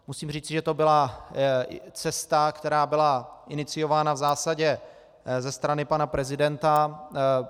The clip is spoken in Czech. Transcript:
Musím říci, že to byla cesta, která byla iniciována v zásadě ze strany pana prezidenta.